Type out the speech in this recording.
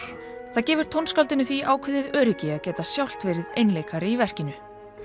það gefur tónskáldinu því ákveðið öryggi að geta sjálft verið einleikari í verkinu